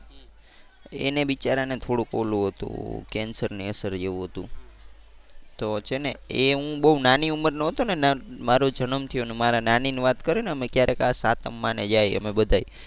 એને બિચારા ને થોડુંક ઓલું હતું કેન્સર ની અસર જેવુ હતું તો છે ને એ હું બહુ નાની ઉમરનો હતો ને મારો જનમ થયો ને મારા નાની ને એ વાત કરે ને અમે ક્યારેક સાતમ માં ને જાય અમે બધાય.